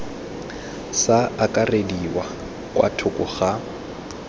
sa akarediwa kwa thoko ga